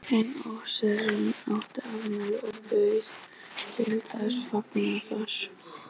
Einn offíserinn átti afmæli og bauð til þessa fagnaðar.